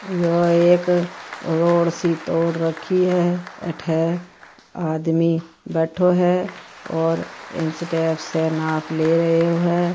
यह एक रोड सी तोड़ रखी है अठे आदमी बैठो है और इंच टेप से नाप ले रहियो है।